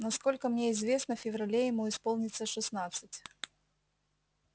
насколько мне известно в феврале ему исполнится шестнадцать